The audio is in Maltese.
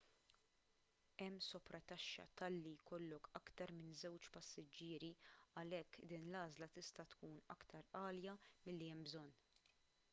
hemm soprataxxa talli jkollok aktar minn 2 passiġġieri għalhekk din l-għażla tista' tkun aktar għalja milli hemm bżonn